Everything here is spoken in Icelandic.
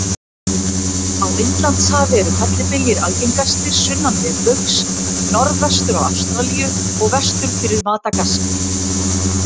Á Indlandshafi eru fellibyljir algengastir sunnan miðbaugs, norðvestur af Ástralíu og vestur fyrir Madagaskar.